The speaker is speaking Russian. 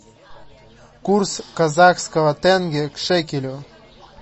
курс казахского тенге к шекелю